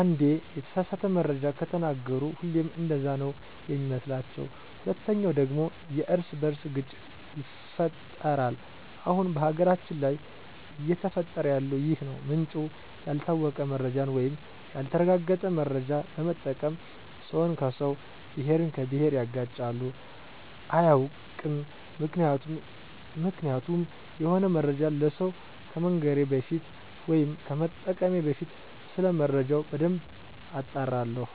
አንዴ የተሳሳተ መረጃ ከተናገሩ ሁሌም እንደዛ ነው ሚመስሏቸዉ። ሁለተኛው ደግሞ የእርስ በእርስ ግጭት ይፈጠራል አሁን በሀገራችን ላይ እየተፈጠረ ያለው ይህ ነው ምንጩ ያልታወቀ መረጃን ወይም ያልተረጋገጠ መረጃ በመጠቀም ሰውን ከሰው፣ ብሄርን ከብሄር ያጋጫሉ። አያውቅም ምክንያቱም የሆነ መረጃን ለሰው ከመንገሬ በፊት ወይም ከመጠቀሜ በፊት ሰለመረጃው በደንብ አጣራለሁ።